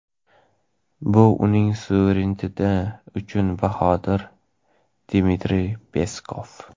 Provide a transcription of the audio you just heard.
bu uning suvereniteti uchun bahodir – Dmitriy Peskov.